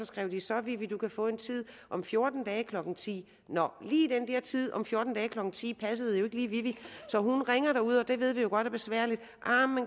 skrev så vivi du kan få en tid om fjorten dage klokken ti nå lige den der tid om fjorten dage klokken ti passede jo ikke lige vivi så hun ringede derud og det ved vi jo godt er besværligt